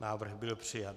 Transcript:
Návrh byl přijat.